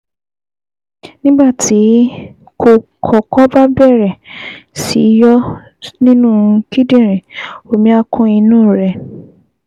Nígbà tí kókọ́kọ́ bá bẹ̀rẹ̀ sí yọ nínú kíndìnrín, omi á kún inú rẹ̀